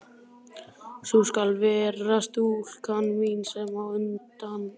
Sú skal vera stúlkan mín, sem á undan gengur.